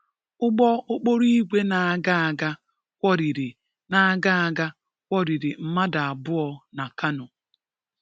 Ụgbọ okporoìgwè na-aga aga kwọriri na-aga aga kwọriri mmadụ abụọ na Kano